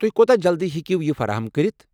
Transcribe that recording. تُہۍ کوتاہ جلدی ہٮ۪کو یہ فراہم کٔرِتھ؟